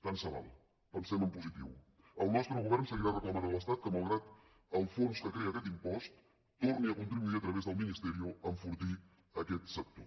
tant se val pensem en positiu el nostre govern seguirà reclamant a l’estat que malgrat el fons que crea aquest impost torni a contribuir a través del ministerio a enfortir aquest sector